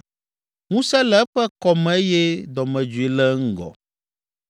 Ŋusẽ le eƒe kɔ me eye dɔmedzoe le eŋgɔ.